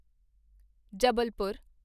Jabalpur